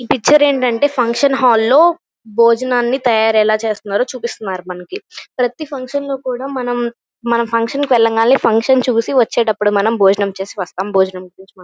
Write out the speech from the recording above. ఈ పిక్చర్ ఏంటంటే function hall లో భోజనాన్ని తయారు ఎలా చేస్తున్నారో చూపిస్తున్నారు మనకి ప్రతి ఫంక్షన్ లో కూడా మనము మనము ఫుక్షన్ వెళ్ళగానే వెళ్లి చూసి వచ్చేటప్పుడు మనం భోజనం చేసి వస్తాం భోజనం--